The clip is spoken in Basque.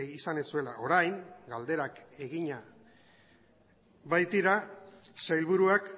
izan ez zuela orain galderak egina baitira sailburuak